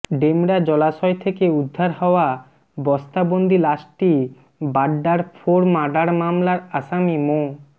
ডেমরা জলাশয় থেকে উদ্ধার হওয়া বস্তাবন্দি লাশটি বাড্ডার ফোর মার্ডার মামলার আসামি মো